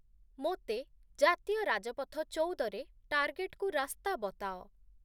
ମୋତେ ଜାତୀୟ ରାଜପଥ-୧୪ ରେ ଟାର୍ଗେଟକୁ ରାସ୍ତା ବତାଅ